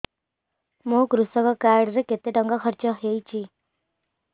ମୋ କୃଷକ କାର୍ଡ ରେ କେତେ ଟଙ୍କା ଖର୍ଚ୍ଚ ହେଇଚି